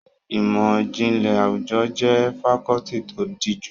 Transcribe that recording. Ìmọ̀ ìjìnlẹ̀ àwùjọ jẹ́ fakọ́ọ́tì tó díjú.